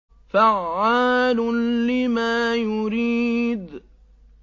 فَعَّالٌ لِّمَا يُرِيدُ